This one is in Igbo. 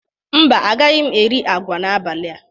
Mba, agaghị m eri agwa n'abalị a